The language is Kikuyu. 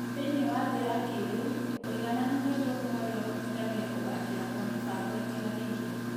Thĩinĩ wa thĩ ya kĩĩrĩu, ũigananĩru nĩ ũndũ ũmwe ũrĩa ũhotithagia kũgaacĩra kwa mĩbango ĩtiganĩte.